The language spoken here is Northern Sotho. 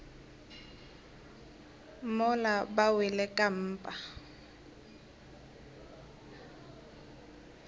mola ba wele ka mpa